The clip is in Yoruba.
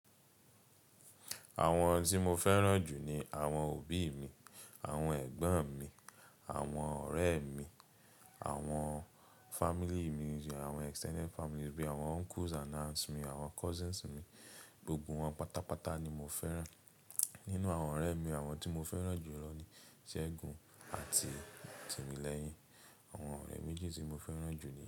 Àwọn tí mo fẹ́ràn jù ni àwọn òbí mi, àwọn ẹ̀gbọ́n mi, àwọn ọ̀rẹ́ mi, àwọn family mi, àwọn extended family bi, àwọn uncles and aunts mi, àwọn cousins mi, gbogbo wọn pátápátá ni mo fẹ́ràn. Nínú àwọn ọ̀rẹ́ mi, àwọn tí mo fẹ́ràn jù lọ ni Segun àti Timilehin. Àwọn ọ̀rẹ́ méjì tí mo fẹ́ràn jù ni.